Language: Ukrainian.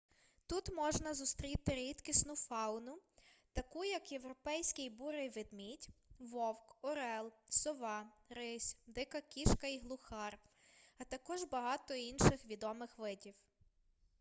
тут можна зустріти рідкісну фауну таку як європейський бурий ведмідь вовк орел сова рись дика кішка і глухар а також багато інших відомих видів